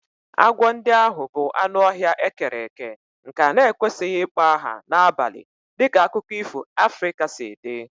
Agwọ ndị ahụ bụ anụ ọhịa e kere eke nke a na-ekwesịghị ịkpọ aha n'abalị dịka akụkọ ifo Africa si dị